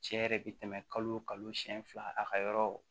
Cɛ yɛrɛ bɛ tɛmɛ kalo o kalo siyɛn fila a ka yɔrɔ